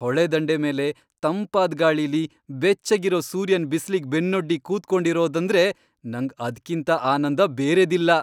ಹೊಳೆ ದಂಡೆ ಮೇಲೆ ತಂಪಾದ್ ಗಾಳಿಲಿ ಬೆಚ್ಚಗಿರೋ ಸೂರ್ಯನ್ ಬಿಸಿಲಿಗ್ ಬೆನ್ನೊಡ್ಡಿ ಕೂತ್ಕೊಂಡಿರೋದಂದ್ರೆ ನಂಗ್ ಅದ್ಕಿಂತ ಆನಂದ ಬೇರೆದಿಲ್ಲ.